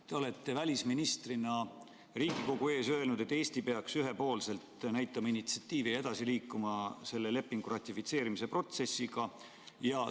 Te olete välisministrina Riigikogu ees öelnud, et Eesti peaks ühepoolselt näitama initsiatiivi ja liikuma selle lepingu ratifitseerimise protsessiga edasi.